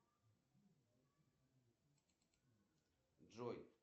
джой почему портрет моны лизы так важен